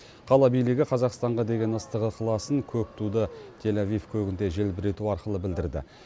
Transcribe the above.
қала билігі қазақстанға деген ыстық ықыласын көк туды тель авив көгінде желбірету арқылы білдірді